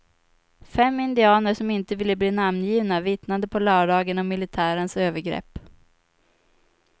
Fem indianer som inte ville bli namngivna vittnade på lördagen om militärens övergrepp.